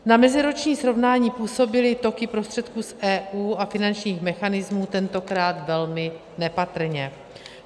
Na meziroční srovnání působily toky prostředků z EU a finančních mechanismů tentokrát velmi nepatrně.